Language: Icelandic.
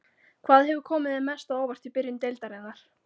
Hvað hefur komið þér mest á óvart í byrjun deildarinnar?